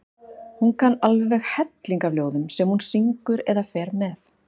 Hún kann alveg helling af ljóðum sem hún syngur eða fer með.